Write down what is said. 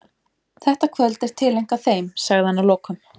Þetta kvöld er tileinkað þeim, sagði hann að lokum.